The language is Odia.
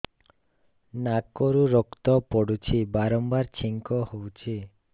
ନାକରୁ ରକ୍ତ ପଡୁଛି ବାରମ୍ବାର ଛିଙ୍କ ହଉଚି